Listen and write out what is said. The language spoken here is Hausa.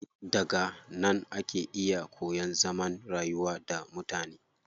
Daga nan ake iya koyan zaman rayuwa da mutane.